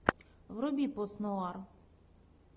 вруби пост нуар